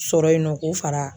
Sɔrɔ yen nɔ k'o fara.